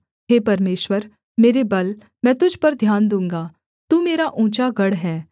हे परमेश्वर मेरे बल मैं तुझ पर ध्यान दूँगा तू मेरा ऊँचा गढ़ है